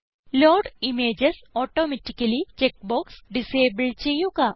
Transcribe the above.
load images automatically check box disable ചെയ്യുക